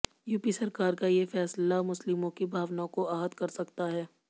UP सरकार का ये फैसला मुस्लिमों की भावनाओं को आहत कर सकता है